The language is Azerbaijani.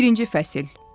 Birinci fəsil.